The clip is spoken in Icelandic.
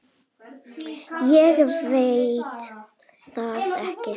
Ég veit það ekki